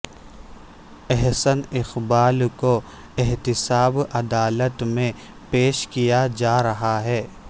احسن اقبال کو احتساب عدالت میں پیش کیاجا رہا ہے